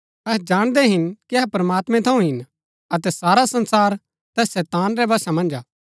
अहै जाणदै हिन कि अहै प्रमात्मैं थऊँ हिन अतै सारा संसार तैस शैतान रै वशा मन्ज हा